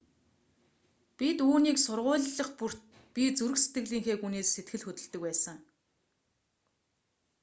бид үүнийг сургуулилах бүрт би зүрх сэтгэлийнхээ гүнээс сэтгэл хөдөлдөг байсан